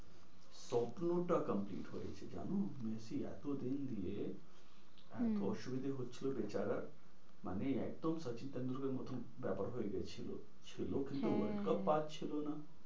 স্বপ্নটা complete হয়েছে জানো? মেসি এতো দিন দিয়ে হম এতো অসুবিধা হচ্ছিলো বেচারার মানে একদম সচিন টেন্ডুলকর এর মতো ব্যাপার হয়ে গিয়েছিলো ছিল কিন্তু world cup পাচ্ছিল না।